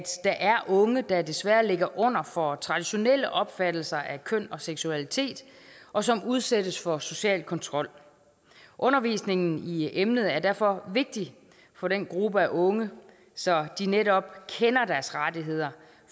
er unge der desværre ligger under for traditionelle opfattelser af køn og seksualitet og som udsættes for social kontrol undervisningen i emnet er derfor vigtig for den gruppe af unge så de netop kender deres rettigheder